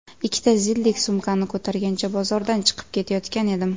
Ikkita zildek sumkani ko‘targancha bozordan chiqib ketayotgan edim.